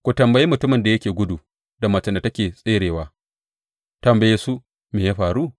Ku tambayi mutumin da yake gudu da macen da take tserewa, tambaye su, Me ya faru?’